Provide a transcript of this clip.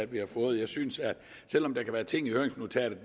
vi har fået jeg synes at det selv om der kan være ting i høringsnotatet